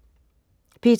P2: